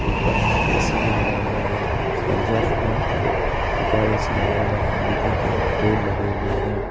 ऊपर में ए_सी भी लगा हुआ है एग्जॉस्ट फैन और एक और ए_सी लगा हुआ है बिजली के बोर्ड लगे हुए हैं।